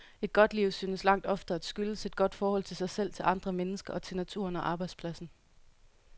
Et godt liv synes langt oftere at skyldes et godt forhold til sig selv, til andre mennesker og til naturen og arbejdspladsen.